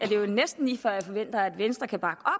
jo næsten lige før jeg forventer at venstre kan bakke